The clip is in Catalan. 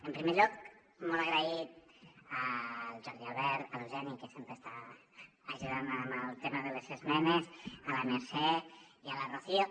en primer lloc molt agraït al jordi albert a l’eugeni que sempre està ajudant en el tema de les esmenes a la mercè i a la rocio